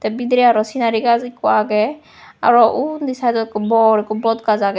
bidirey araw sinari gaz ekko age araw undi sidot ekko bor ekko bodgaz agey.